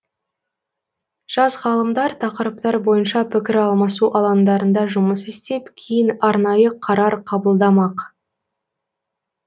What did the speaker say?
жас ғалымдар тақырыптар бойынша пікір алмасу алаңдарында жұмыс істеп кейін арнайы қарар қабылдамақ